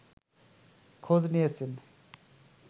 খোঁজ নিয়েছেন